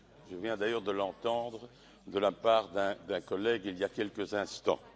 Je viens d'ailleurs de l'entendre de la part d'un collègue, il y a quelques instants.